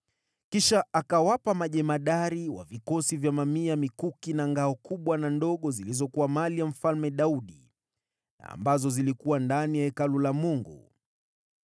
Kisha akawapa wakuu wa vikosi vya mamia mikuki na ngao kubwa na ndogo zilizokuwa za Mfalme Daudi, zilizokuwa ndani ya Hekalu la Mungu.